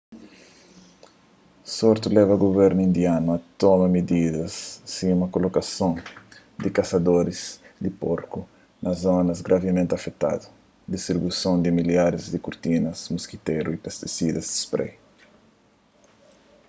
surtu leba guvernu indianu a toma mididas sima kolokason di kasadoris di porku na zonas gravimenti afetadu distribuison di milharis di kurtinas moskitéru y pestisidas di sprai